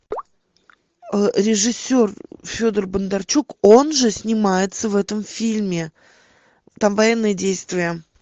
режиссер федор бондарчук он же снимается в этом фильме там военные действия